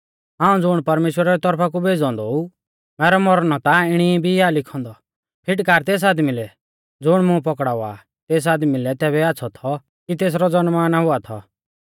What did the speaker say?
हाऊं ज़ुण परमेश्‍वरा री तौरफा कु भेज़ौ औन्दौ ऊ मैरौ मौरणौ ता इणौ भी आ लिखौ औन्दौ फिटकार तेस आदमी लै ज़ुण मुं पौकड़ावा आ तेस आदमी लै तैबै आच़्छ़ौ थौ कि तेसरौ ज़नमा ना हुआ थौ